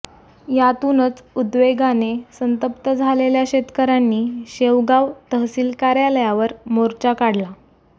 यातूनच उद्वेगाने संतप्त झालेल्या शेतकऱ्यांनी शेवगाव तहसिल कार्यालयावर मोर्चा काढला